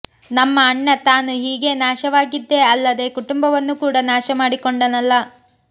ನಮ್ಮ ಅಣ್ಣ ತಾನು ಹೀಗೆ ನಾಶವಾಗಿದ್ದೇ ಅಲ್ಲದೆ ಕುಟುಂಬವನ್ನು ಕೂಡ ನಾಶಮಾಡಿಕೊಂಡನಲ್ಲಾ